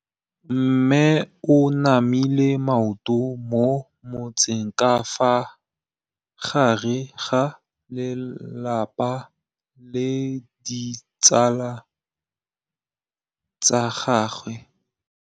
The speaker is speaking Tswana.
Mme o namile maoto mo mmetseng ka fa gare ga lelapa le ditsala tsa gagwe.